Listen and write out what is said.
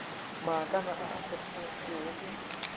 maakana a a kgothotšwego ke